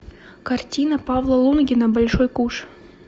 картина павла лунгина большой куш